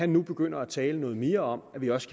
nu begynder at tale noget mere om at vi også